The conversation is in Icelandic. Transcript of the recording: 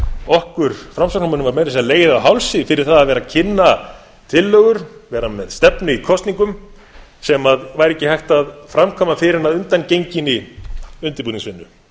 okkur framsóknarmönnum var meira að segja legið á hálsi fyrir það að vera að kynna tillögur vera með stefnu í kosningum sem væri ekki hægt að framkvæma fyrr en að undangenginni undirbúningsvinnu